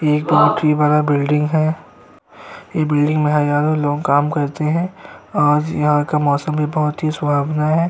एक बोहोत ही बड़ा बिल्डिंग है। बिल्डिंग में हजारों लोग काम करते हैं और यहाँ का मौसम भी बोहोत ही सुहावना है।